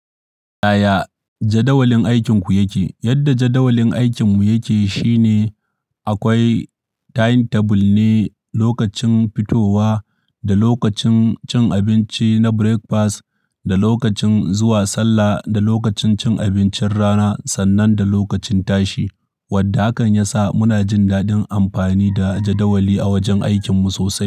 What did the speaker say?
Yaya jadawalin aikinku yake? Yadda jadawalin aikinmu yake shine akwai timetable ne, lokacin fitowa da lokacin cin abinci na breakfast, da lokacin zuwa sallah, da lokacin cin abincin rana sannan da lokacin tashi. Wadda hakan ya sa muna jin daɗin amfani da jadawali a wajen aikinmu sosai.